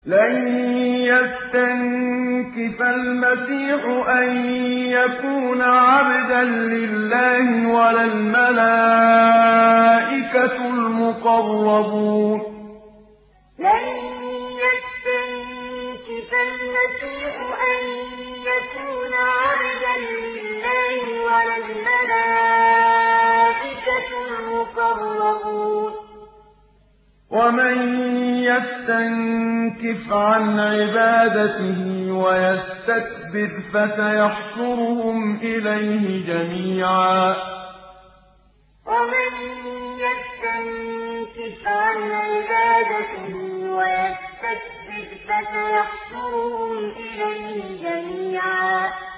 لَّن يَسْتَنكِفَ الْمَسِيحُ أَن يَكُونَ عَبْدًا لِّلَّهِ وَلَا الْمَلَائِكَةُ الْمُقَرَّبُونَ ۚ وَمَن يَسْتَنكِفْ عَنْ عِبَادَتِهِ وَيَسْتَكْبِرْ فَسَيَحْشُرُهُمْ إِلَيْهِ جَمِيعًا لَّن يَسْتَنكِفَ الْمَسِيحُ أَن يَكُونَ عَبْدًا لِّلَّهِ وَلَا الْمَلَائِكَةُ الْمُقَرَّبُونَ ۚ وَمَن يَسْتَنكِفْ عَنْ عِبَادَتِهِ وَيَسْتَكْبِرْ فَسَيَحْشُرُهُمْ إِلَيْهِ جَمِيعًا